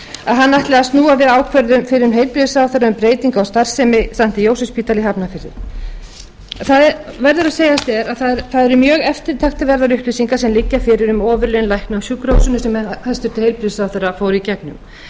að hann ætli að snúa við ákvörðun fyrrum heilbrigðisráðherra um breytingar á starfsemi st jósefsspítala í hafnarfirði það verður að segjast eins og er að það eru mjög eftirtektarverðar upplýsingar sem liggja fyrir um ofurlaun lækna á sjúkrahúsum eins og hæstvirtur heilbrigðisráðherra fór í gegnum þar